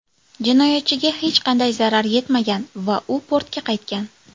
Jinoyatchiga hech qanday zarar yetmagan va u portga qaytgan.